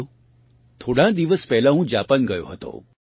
સાથીઓ થોડાં દિવસ પહેલાં હું જાપાન ગયો હતો